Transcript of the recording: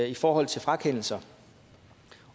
i forhold til frakendelser